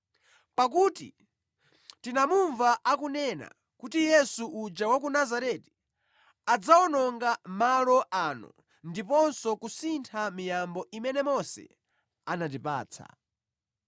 Pakuti tinamumva akunena kuti Yesu uja wa ku Nazareti adzawononga malo ano ndiponso kusintha miyambo imene Mose anatipatsa.”